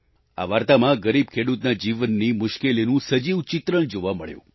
આ વાર્તામાં ગરીબ ખેડૂતના જીવનની મુશ્કેલીનું સજીવ ચિત્રણ જોવા મળ્યું